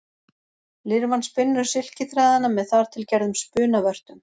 Lirfan spinnur silkiþræðina með þar til gerðum spunavörtum.